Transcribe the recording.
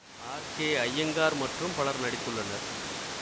R K Iyengar மற்றும் பலர் நடித்துள்ளனர்